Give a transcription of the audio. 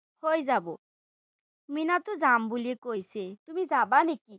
হৈ যাব। মিনাতো যাম বুলি কৈছেই, তুমি যাবা নেকি?